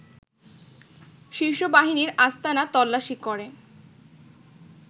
শীর্ষ বাহিনীর আস্তানা তল্লাশি করে